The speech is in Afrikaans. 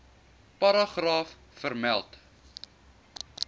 paragraaf vermeld